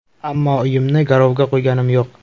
Ammo uyimni garovga qo‘yganim yo‘q.